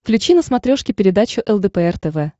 включи на смотрешке передачу лдпр тв